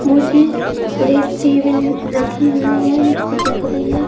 मुझे rack table रखी हुई है मुझे देख रही है।